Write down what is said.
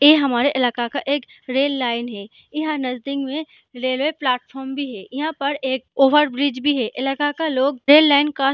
ये हमारे इलाका का एक रेल लाइन है यहां नजदीक में रेलवे प्लेटफार्म भी है यहां पर एक ओवर ब्रिज भी है इलाका का लोग रेल लाइन का --